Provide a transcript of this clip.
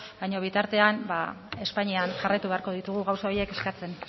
baina bitartean espainian jarraitu beharko ditugu gauza horiek eskatzen